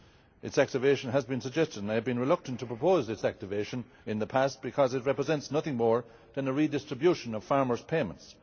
Its activation has been suggested, and I have been reluctant to propose its activation in the past because it represents nothing more than a redistribution of farmers' payments.